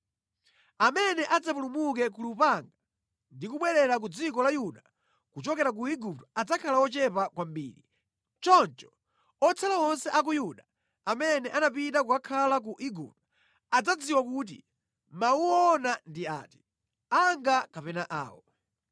Amene adzapulumuke ku lupanga ndi kubwerera ku dziko la Yuda kuchokera ku Igupto adzakhala ochepa kwambiri. Choncho otsala onse a ku Yuda amene anapita kukakhala ku Igupto adzadziwa kuti mawu woona ndi ati, anga kapena awo.